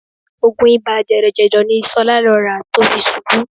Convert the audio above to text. Oògùn ibà jẹ̀dọ̀jẹ̀dọ̀ ni Ṣọlá lọ rà tó fi ṣubú